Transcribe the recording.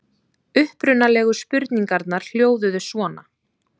Upprunalegu spurningarnar hljóðuðu svona: